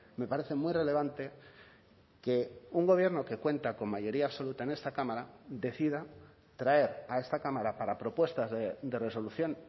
me parece muy relevante que un gobierno que cuenta con mayoría absoluta en esta cámara decida traer a esta cámara para propuestas de resolución